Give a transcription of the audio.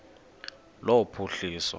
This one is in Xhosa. lophuhliso